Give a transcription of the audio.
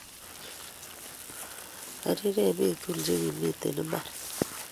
Arire eny bik tugul che kimiten imbar